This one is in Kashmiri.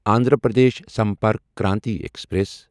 اندھرا پردیش سمپرک کرانتی ایکسپریس